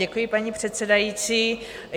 Děkuji, paní předsedající.